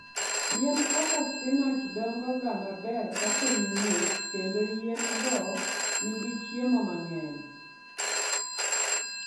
Yien kaka spinach dongoga maber ka piny ng'ich kendo yien-go nigi chiemo mang'eny.